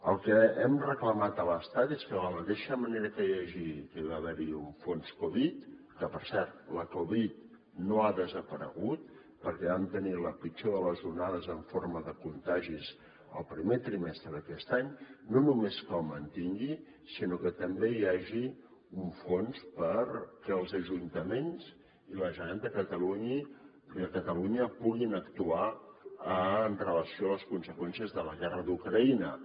el que hem reclamat a l’estat és que de la mateixa manera que hi va haver un fons covid que per cert la covid no ha desaparegut perquè vam tenir la pitjor de les onades en forma de contagis el primer trimestre d’aquest any no només que el mantingui sinó que també hi hagi un fons perquè els ajuntaments i la generalitat de catalunya puguin actuar amb relació a les conseqüències de la guerra d’ucraïna